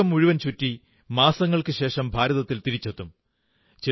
അവർ ലോകം മുഴുവൻ ചുറ്റി മാസങ്ങൾക്കുശേഷം ഭാരതത്തിൽ തിരിച്ചെത്തും